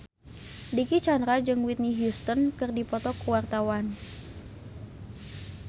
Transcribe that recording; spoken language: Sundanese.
Dicky Chandra jeung Whitney Houston keur dipoto ku wartawan